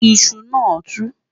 iṣù nà tú